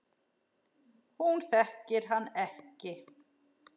Hún þekkir hann ekki.